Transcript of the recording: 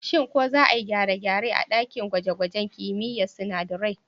Shin ko za a yi gyare-gyare a ɗakin gwaje-gwajen kimiyyar sinadarai?